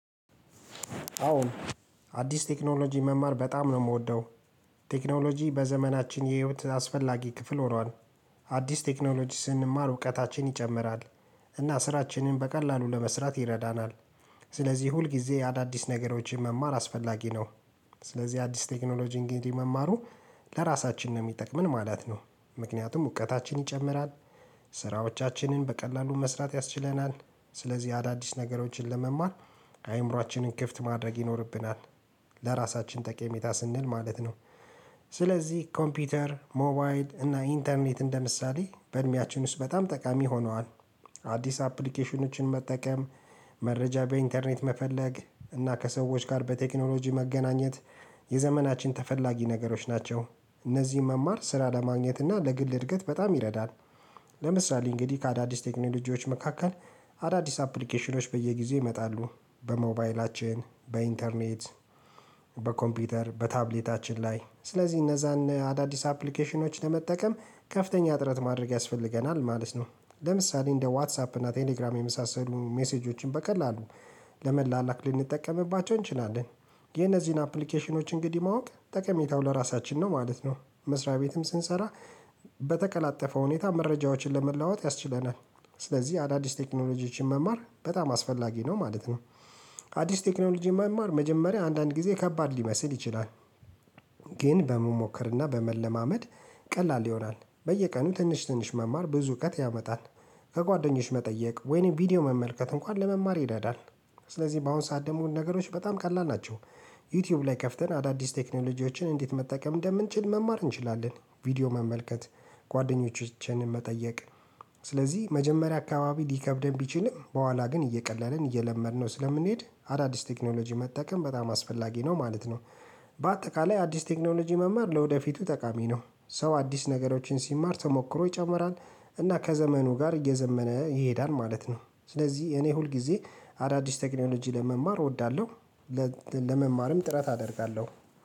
አዎ አዲስ ቴክኖሎጂ መማር በጣም ነው የምወደው። ቴክኖሎጂ በዘመናችን የህይወት አስፈላጊ ክፍል ሆኗል። አዲስ ቴክኖሎጂ ስንማር እውቀታችን ይጨምራል። እና ስራችንን በቀላሉ ለመስራት ይረዳናል። ስለዚህ ሁልጊዜ አዳዲስ ነገሮችን መማር አስፈላጊ ነው። ስለዚህ አዲስ ቴክኖሎጂ እንግዲህ መማሩ ለራሳችን ነው የሚጠቅመን ማለት ነው። ምክንያቱም እውቀታችን ይጨምራል ስራዎቻችንን በቀላሉ መስራት ያስችለናል። ስለዚህ አዳዲስ ነገሮችን ለመማር አይምሯችንን ክፍት ማድረግ ይኖርብናል። ለራሳችን ጠቀሜታ ስንል ማለት ነው። ስለዚህ ኮምፒውተር ሞባይል እና ኢንተርኔት እንደምሳሌ በእድሜያችን ውስጥ በጣም ጠቃሚ ሆኗል። አዲስ አፕሊኬሽኖችን መጠቀም መረጃ በኢንተርኔት መፈለግ እና ከሰዎች ጋር በቴክኖሎጂ መገናኘት የዘመናችን ተፈላጊ ነገሮች ናቸው። እነዚህን መማር ስራ ለማግኘት እና ለግል እድገት በጣም ይረዳል። ለምሳሌ እንግዲህ ከአዳዲስ ቴክኖሎጂዎች መካከል አዳዲስ አፕሊኬሽኖች በየጊዜው ይመጣሉ። በሞባይላችን በኢንተርኔት በኮምፒውተር በታብሌታችን ላይ ስለዚህ እነዛን አዳዲስ አፕሊኬሽኖች ለመጠቀም ከፍተኛ እጥረት ማድረግ ያስፈልገናል ማለት ነው። ለምሳሌ እንደ ዋትሳፕ እና ቴሌግራም የመሳሰሉ ሜሴጆችን በቀላሉ ለመላላክ ልንጠቀምባቸው እንችላለን። የነዚህን አፕሊኬሽኖች እንግዲህ ማወቅ ጠቀሜታው ለራሳችን ነው ማለት ነው። መስሪያ ቤትም ስንሰራ በተቀላጠፈው ሁኔታ መረጃዎችን ለመለዋወጥ ያስችለናል። ስለዚህ አዳዲስ ቴክኖሎጂዎችን መማር በጣም አስፈላጊ ነው ማለት ነው። አዲስ ቴክኖሎጂ መማር መጀመሪያ አንዳንድ ጊዜ ከባድ ሊመስል ይችላል። ግን በመሞከርና በመለማመድ ቀላል ይሆናል። በየቀኑ ትንሽ ትንሽ መማር ብዙ እውቀት ያመጣል። ከጓደኞች መጠየቅ ወይንም ቪዲዮ መመልከት እንኳን ለመማር ይዳዳል። ስለዚህ በአሁን ሰዓት ደግሞ ነገሮች በጣም ቀላል ናቸው። ዩቲዩብ ላይ ከፍተን አዳዲስ ቴክኖሎጂዎችን እንዴት መጠቀም እንደምንችል መማር እንችላለን። ቪዲዮ መመልከት ጓደኞቻችንን መጠየቅ ስለዚህ መጀመሪያ አካባቢ ሊከብደን ቢችልም በኋላ ግን እየቀለልን እየለመድነው ስለምንሄድ አዳዲስ ቴክኖሎጂ መጠቀም በጣም አስፈላጊ ነው ማለት ነው። በአጠቃላይ አዲስ ቴክኖሎጂ መማር ለወደፊቱ ጠቃሚ ነው ሰው አዲስ ነገሮችን ሲማር ተሞክሮ ይጨምራል እና ከዘመኑ ጋር እየዘመነ ይሄዳል ማለት ነው። ስለዚህ እኔ ሁል ሁልጊዜ አዳዲስ ቴክኖሎጂ ለመማር እወዳለሁ። ለመማርም ጥረት አደርጋለሁ